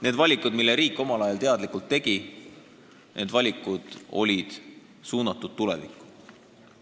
Need valikud, mis riik omal ajal teadlikult tegi, olid suunatud tulevikku.